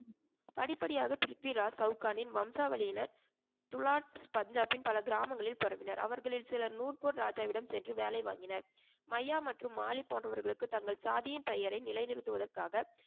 படிப்படியாக பிரித்விராஜ் சவுகானின் வம்சா வழியினர் துலாட் பஞ்சாபில் பல கிராமங்களில் பரவினர் அவர்களில் சிலர் நூட்போர் ராஜாவிடம் சென்று வேலை வாங்கினர். மய்யா மற்றும் மாலி போன்றவர்களுக்கு தங்கள் சாதியின் பெயரை நிலைநிறுத்துவதற்காக